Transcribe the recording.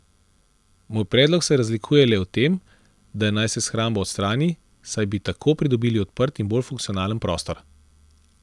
Moj predlog se razlikuje le v tem, da naj se shrambo odstrani, saj bi tako pridobili odprt in bolj funkcionalen prostor.